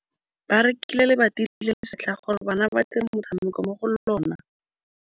Ba rekile lebati le le setlha gore bana ba dire motshameko mo go lona.